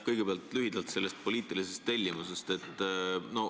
Kõigepealt lühidalt poliitilisest tellimusest.